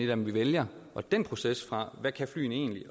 dem vi vælger den proces altså fra hvad flyene egentlig